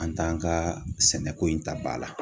An t'an ka sɛnɛko in ta ba la